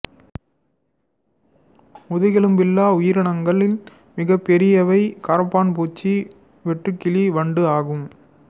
முதுகெலும்பில்லாத உயிரினங்களில் மிகப் பெரியவை கரப்பான் பூச்சி வெட்டுக்கிளி வண்டு ஆகும்